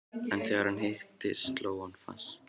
En þegar hann hitti, sló hann fast.